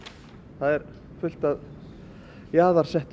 það er fullt af